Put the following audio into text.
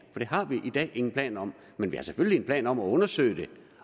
det har vi i dag ingen planer om men vi har selvfølgelig en plan om at undersøge det